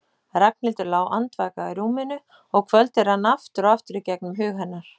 Ragnhildur lá andvaka í rúminu og kvöldið rann aftur og aftur í gegnum hug hennar.